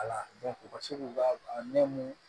Ala u ka se k'u ka ne mun